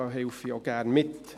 Da helfe ich auch gerne mit.